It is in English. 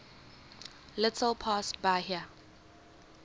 little past bahia